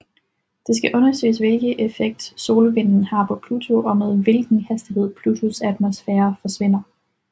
Det skal undersøge hvilken effekt solvinden har på Pluto og med hvilken hastighed Plutos atmosfære forsvinder